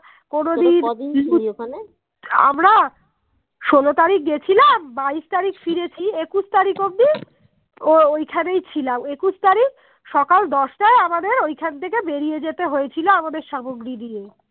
মধ্যে ঐখান থেকে বেরিয়ে যেতে হয়েছিল আমাদের সামগ্রী নিয়ে